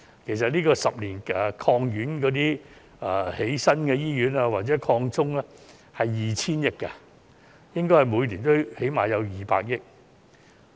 其實，十年醫院發展計劃的資源有 2,000 億元，應該每年最少有200億元經費。